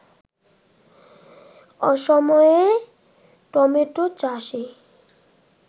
অসময়ে টমেটো চাষে